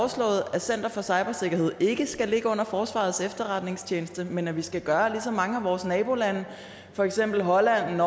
at center for cybersikkerhed ikke skal ligge under forsvarets efterretningstjeneste men at vi skal gøre ligesom mange af vores nabolande for eksempel holland